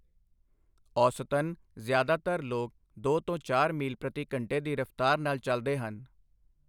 ਔਸਤਨ, ਜ਼ਿਆਦਾਤਰ ਲੋਕ ਦੋ ਤੋਂ ਚਾਰ ਮੀਲ ਪ੍ਰਤੀ ਘੰਟੇ ਦੀ ਰਫ਼ਤਾਰ ਨਾਲ ਚਲਦੇ ਹਨ।